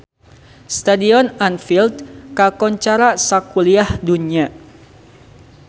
Stadion Anfield kakoncara sakuliah dunya